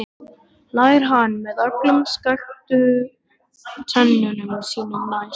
hlær hann með öllum skökku tönnunum sínum, næst